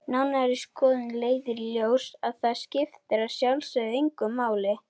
Nánari skoðun leiðir í ljós að það skiptir að sjálfsögðu engu máli.